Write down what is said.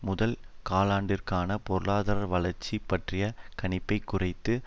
முதல் காலாண்டிற்கான பொருளாதார வளர்ச்சி பற்றிய கணிப்பைக் குறைத்து